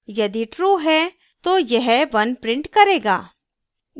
यदि true है तो यह 1 print करेगा